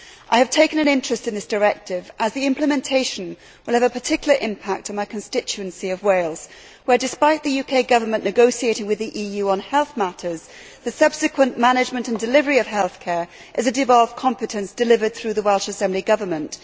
I have taken an interest in this directive as the implementation will have a particular impact in my constituency of Wales where, despite the UK Government negotiating with the EU on health matters, the subsequent management and delivery of healthcare is a devolved competence delivered through the Welsh Assembly Government.